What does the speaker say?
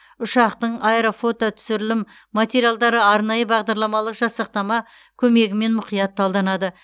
ұшақтың аэрофототүсірілім материалдары арнайы бағдарламалы жасақтама көмегімен мұқият талданады